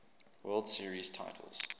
world series titles